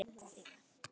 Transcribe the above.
Langaði það mikið.